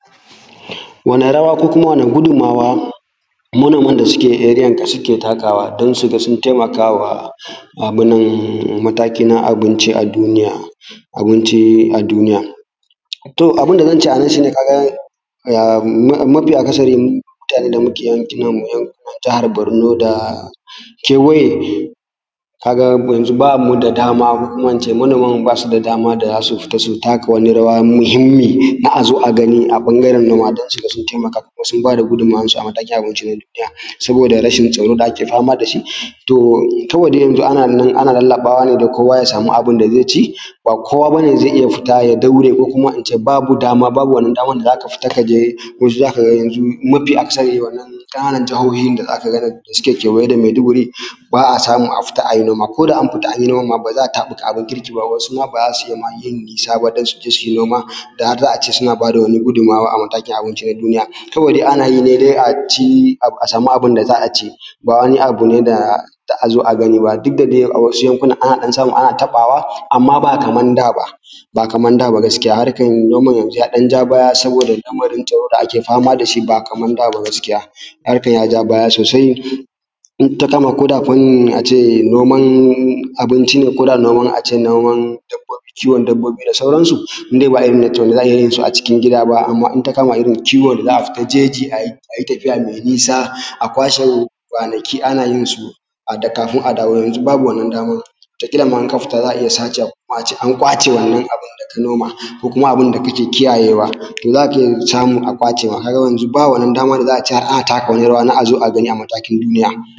Wane rawa ko kuma wane gudummawa manoman da suke area nka suke takawa don su ga sun taimakawa um mataki na abinci a duniya abinci a duniya. Toh, abun da zan ce a nan shi ne ka gane um mafi mafi akasarim mutanen da muke yanki nan mu na jahar Borno da kewaye, ka ga yanzu ba mu da damam ko kuma in ce manoman mu ba su da dama da za su fita su taka wani rawa muhimmi na a zo a gani a ɓangaren noma, don su ga sun taimaka kuma sun ba da guddumawan su a matakin abinci na duniya, saboda rashin tsaro da ake fama da shi. To, kawai dai yanzu ana nan ana lallaɓawa ne da kowa ya samu abun da ze ci, ba kowa ba ne zai ya futa ya daure ko in ce babu dama, babu wannan daman da za ka futa ka je waje za ka ga yanzu mafi akasari wannan ƙananan jahohin da za ka nan da suke kewaye da Meduguri ba a samu a fita ai noma, ko da an futa anyi noma ba za'a taɓuka abun kirki ba, wasu ma ba za su ma iya yin nisa ba dan su je su yi noma, da har za'a ce suna bada wani gudummawa a matakin abunci na duniya. Kawai dai ana yi ne a ci a samu abun da za a ci, ba wani abu ne da da'a zo a gaani ba, duk da dai a wasu yankunan ana samu ana taɓawa, amma ba kaman daa ba, ba kaman daa ba gaskiya harkan noman yanzun ya ɗanja baya saboda lamarin tsaro da ake fama dashi, ba kaman daa ba gaskiya, harkan ya ja baya sosai, in ta kama ko da fannin a ce noman abunci ne koda noman a ce noman kiwon dabbobi da sauransu, in dai ba irin toh wanda za'a iya yin su a cikin gida ba, amma in ta kama irin kiwon da za'a fita jeji a yi tafiya me nisa, a kwashe kwanaki ana yin su kafun a dawo, yanzu babu wannan daman, wataƙila ma in ka futa za'a iya sace abu ko kuma ace an ƙwace wannan abun da ka noma, ko kuma abun da kake kiyayewa. Toh, za ka ga yanzu samun a ƙwace ka ga yanzu ba wannan dama da za'a ce har ana taka wani rawa na a zo a gani a matakin duniya.